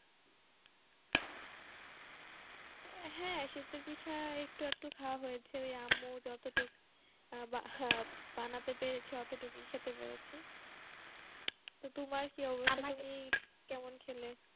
হ্যাঁ শীতের পিঠা একটু-আধটু খাওয়া হয়েছে ওই আম্মু যতটুকু বানাতে পেরেছে ততটুকুই খেতে পেরেছি তো তোমার কি অবস্থা? কেমন খেলে?